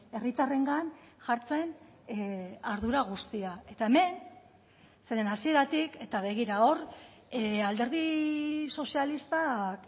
herritarrengan jartzen ardura guztia eta hemen zeren hasieratik eta begira hor alderdi sozialistak